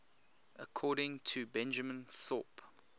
according to benjamin thorpe